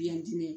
Ya diinɛ